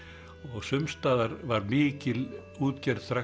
sums staðar var mikil útgerð strax